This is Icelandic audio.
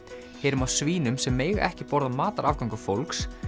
heyrum af svínum sem mega ekki borða matarafganga fólks